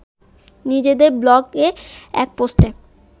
নিজেদের ব্লগে এক পোস্টে